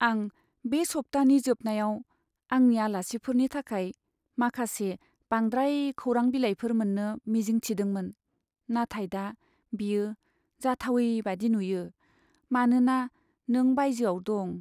आं बे सप्तानि जोबनायाव आंनि आलासिफोरनि थाखाय माखासे बांद्राय खौरां बिलाइफोर मोन्नो मिजिं थिदोंमोन, नाथाय दा बेयो जाथावै बायदि नुयो, मानोना नों बायजोआव दं।